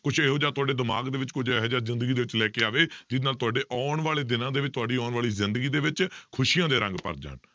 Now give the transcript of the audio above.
ਕੁਛ ਇਹੋ ਜਿਹਾ ਤੁਹਾਡੇ ਦਿਮਾਗ ਦੇ ਵਿੱਚ ਕੁੱਝ ਇਹੋ ਜਿਹਾ ਜ਼ਿੰਦਗੀ ਵਿੱਚ ਲੈ ਕੇ ਆਵੇ ਜਿਹਦੇ ਨਾਲ ਤੁਹਾਡੇ ਆਉਣ ਵਾਲੇ ਦਿਨਾਂ ਦੇ ਵਿੱਚ ਤੁਹਾਡੀ ਆਉਣ ਵਾਲੀ ਜ਼ਿੰਦਗੀ ਦੇ ਵਿੱਚ ਖ਼ੁਸ਼ੀਆਂ ਦੇ ਰੰਗ ਭਰ ਜਾਣ।